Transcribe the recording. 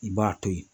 I b'a to ye